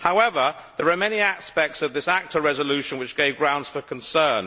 However, there are many aspects of this ACTA resolution which gave grounds for concern.